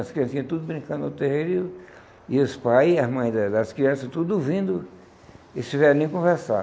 As criancinhas tudo brincando no terreiro e o e os pais e as mães da das crianças tudo ouvindo esse velhinho conversar.